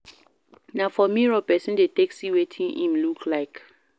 Na for mirror persin de take see wetin im look like